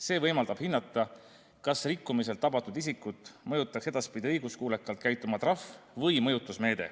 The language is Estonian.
See võimaldab hinnata, kas rikkumiselt tabatud isikut mõjutaks edaspidi õiguskuulekalt käituma trahv või mõjutusmeede.